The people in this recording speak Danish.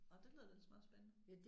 Nåh det lyder da ellers meget spændende